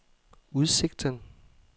udsigten